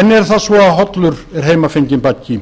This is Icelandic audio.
enn er það svo að hollur er heimafenginn baggi